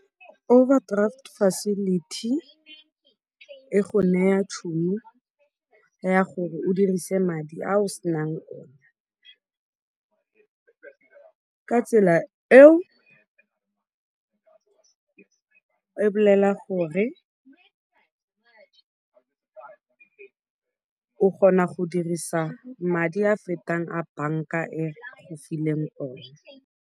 Overdraft facility e go naya tšhono ya gore o dirise madi a o senang ona. Ka tsela eo e bolela gore o kgona go dirisa madi a a fetang a banka e go fileng ona.